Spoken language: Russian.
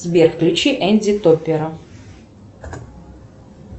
сбер включи энди топера